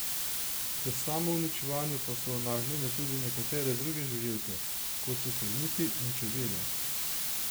K samouničevanju pa so nagnjene tudi nekatere druge žuželke, kot so termiti in čebele.